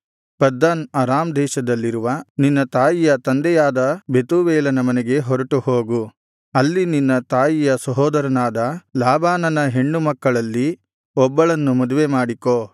ಪದ್ದನ್ Aram ದೇಶದಲ್ಲಿರುವ ನಿನ್ನ ತಾಯಿಯ ತಂದೆಯಾದ ಬೆತೂವೇಲನ ಮನೆಗೆ ಹೊರಟು ಹೋಗು ಅಲ್ಲಿ ನಿನ್ನ ತಾಯಿಯ ಸಹೋದರನಾದ ಲಾಬಾನನ ಹೆಣ್ಣು ಮಕ್ಕಳಲ್ಲಿ ಒಬ್ಬಳನ್ನು ಮದುವೆ ಮಾಡಿಕೋ